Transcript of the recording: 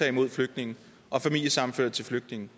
imod flygtninge og familiesammenførte til flygtninge